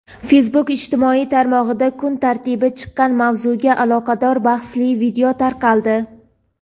Facebook ijtimoiy tarmog‘ida kun tartibiga chiqqan mavzuga aloqador bahsli video tarqaldi.